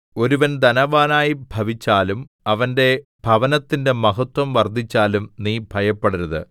ഒരുവൻ ധനവാനായി ഭവിച്ചാലും അവന്റെ ഭവനത്തിന്റെ മഹത്വം വർദ്ധിച്ചാലും നീ ഭയപ്പെടരുത്